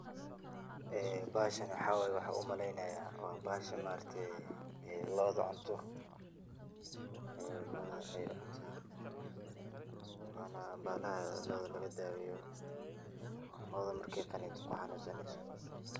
Bahashan waxa waye ayan umaleynaya bahasha lo'da cunto oo lo'da ayey cunta wana bahalaha loda lagadaweyo oo lo'da markey cunto xanunsaneyso.